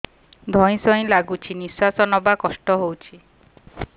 ଧଇଁ ସଇଁ ଲାଗୁଛି ନିଃଶ୍ୱାସ ନବା କଷ୍ଟ ହଉଚି